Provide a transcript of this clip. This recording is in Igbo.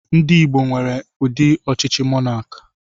Ndị Igbo nwere ụdị ọchịchị monakị.